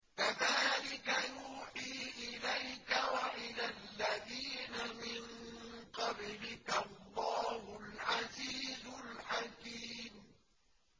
كَذَٰلِكَ يُوحِي إِلَيْكَ وَإِلَى الَّذِينَ مِن قَبْلِكَ اللَّهُ الْعَزِيزُ الْحَكِيمُ